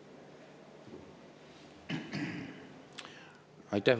Aitäh!